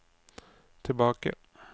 tilbake